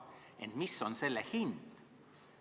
Ent mis on selle hind?